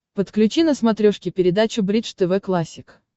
подключи на смотрешке передачу бридж тв классик